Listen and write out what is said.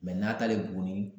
n'a t'ale Buguni